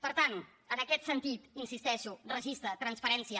per tant en aquest sentit hi insisteixo registre transparència